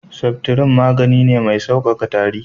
Septrin magani ne mai sauƙaƙa tari.